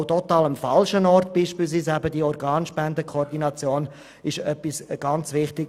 Auch die Organspendenkoordination ist sehr wichtig.